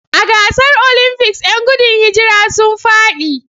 A gasar Olymfics, 'yan gudun hijira sun fadi.